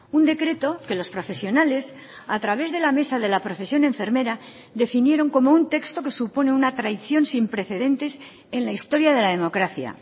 un decreto que los profesionales a través de la mesa de la profesión enfermera definieron como un texto que supone una traición sin precedentes en la historia de la democracia